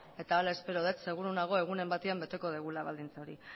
eta hala espero dut seguru nago egunen batean beteko dugula baldintza hori